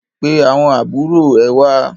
Pe àwọn àbúrò ẹ wá!